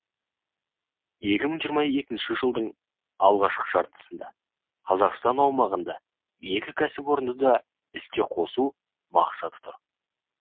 екі мың жиырма екінші жылдың алғашқы жартысында қазақстан аумағында екі кәсіпорынды да іске қосу мақсаты тұр